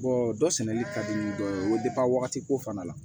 dɔ sɛnɛli ka di dɔ ye o wagati ko fana la